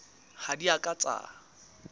ha di a ka tsa